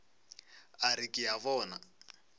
a re ke a bona